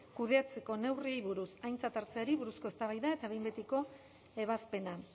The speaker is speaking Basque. kudeatzeko neurriei buruz aintzat hartzeari buruzko eztabaida eta behin betiko ebazpena